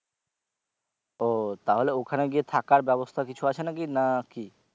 ও তাহলে ওখানে গিয়ে থাকার ব্যবস্থা কিছু আছে নাকি না কি?